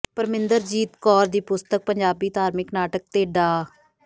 ਪਰਮਿੰਦਰਜੀਤ ਕੌਰ ਦੀ ਪੁਸਤਕ ਪੰਜਾਬੀ ਧਾਰਮਿਕ ਨਾਟਕ ਤੇ ਡਾ